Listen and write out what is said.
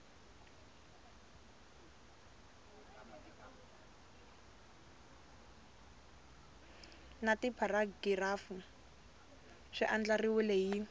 na tipharagirafu swi andlariwile hi